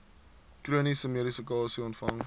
chroniese medikasie ontvang